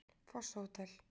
Fosshótel